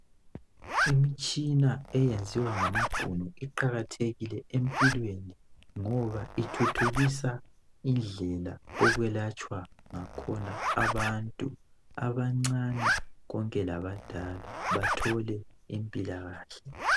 imitshina eyenziwa ngamabhunu iqakathekile empilweni ngoba ithuthukisa indlela okwelatshwa ngakhona abantu abancane konke labadala bathole impilakahle